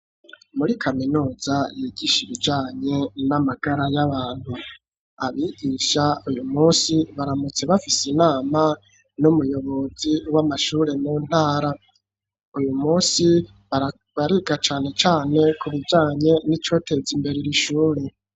Muri kaminuza yigisha ibijanye n'amagara y'abantu abigisha uyu munsi baramutse bafise inama n'umuyobozi w'amashure mu ntara uyu munsi bariga cane cane ku bijanye n'icoteza imbere iri shuri.